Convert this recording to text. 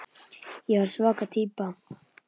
Ég var svaka týpa.